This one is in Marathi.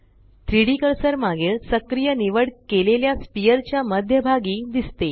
3Dकर्सर मागील सक्रिय निवड केलेल्या स्फियर च्या मध्य भागी दिसते